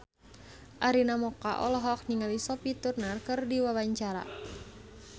Arina Mocca olohok ningali Sophie Turner keur diwawancara